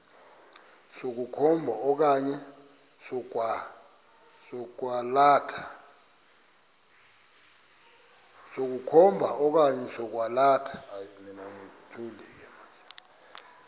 sokukhomba okanye sokwalatha